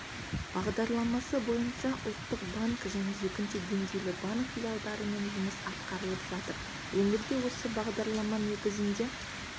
бағдарламасы бойынша ұлттық банк және екінші деңгейлі банк филиалдарымен жұмыс атқарылып жатыр өңірде осы бағдарлама негізінде